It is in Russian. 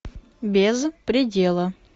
без предела